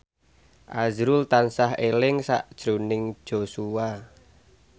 azrul tansah eling sakjroning Joshua